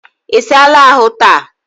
Isala ahu taa?